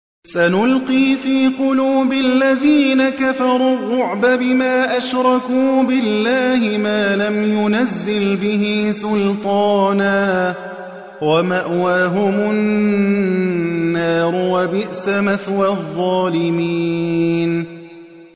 سَنُلْقِي فِي قُلُوبِ الَّذِينَ كَفَرُوا الرُّعْبَ بِمَا أَشْرَكُوا بِاللَّهِ مَا لَمْ يُنَزِّلْ بِهِ سُلْطَانًا ۖ وَمَأْوَاهُمُ النَّارُ ۚ وَبِئْسَ مَثْوَى الظَّالِمِينَ